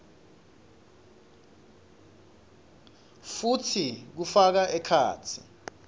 futsi kufaka ekhatsi